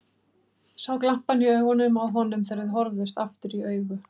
Sá glampann í augunum á honum þegar þau horfðust aftur í augu.